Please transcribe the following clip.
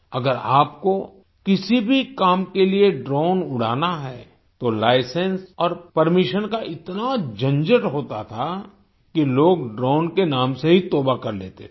अगर आपको किसी भी काम के लिए ड्रोन उड़ाना है तो लाइसेंस और परमिशन का इतना झंझट होता था कि लोग ड्रोन के नाम से ही तौबा कर लेते थे